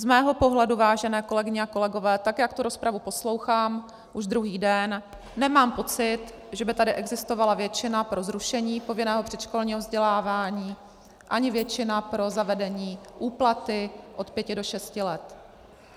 Z mého pohledu, vážené kolegyně a kolegové, tak jak tu rozpravu poslouchám už druhý den, nemám pocit, že by tady existovala většina pro zrušení povinného předškolního vzdělávání ani většina pro zavedení úplaty od pěti do šesti let.